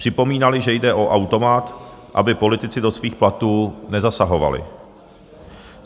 Připomínali, že jde o automat, aby politici do svých platů nezasahovali.